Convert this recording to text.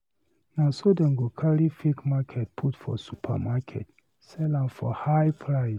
Na so dem go carry fake market put for supermarket, sell am for high price.